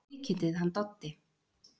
Kvikindið hann Doddi!